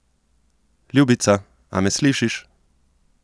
Ljubica, a me slišiš?